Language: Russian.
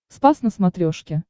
спас на смотрешке